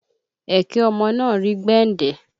Ẹ̀kẹ ọmọ náà rí gbẹndẹ